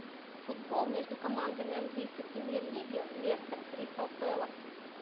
футбол между командами английской премьер лиги лестер кристал пэлас